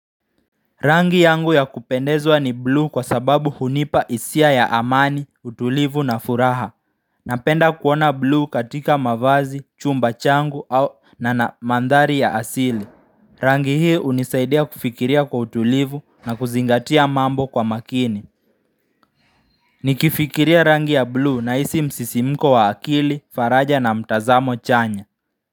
Rangi yangu ya kupendezwa ni bluu kwa sababu hunipa hisia ya amani, utulivu na furaha. Napenda kuona bluu katika mavazi, chumba changu au na, na mandhari ya asili. Rangi hii hunisaidia kufikiria kwa utulivu na kuzingatia mambo kwa makini. Nikifikiria rangi ya bluu nahisi msisimko wa akili, faraja na mtazamo chanya.